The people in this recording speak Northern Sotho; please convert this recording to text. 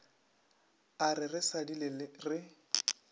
a re re šadile re